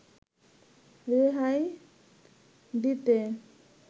রেহাই দিতে